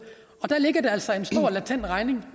der ligger der altså en stor latent regning